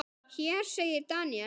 Hér segir Daniel